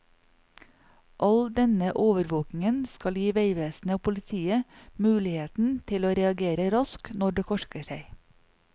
All denne overvåkingen skal gi veivesenet og politiet muligheten til å reagere raskt når det korker seg.